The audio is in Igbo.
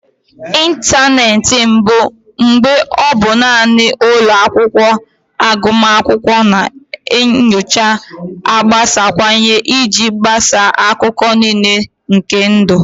Ịntanetị mbụ, mgbe ọ bụ naanị ụlọ akwụkwọ agụmakwụkwọ na nyocha, agbasawanyela iji gbasaa akụkụ niile nke ndụ.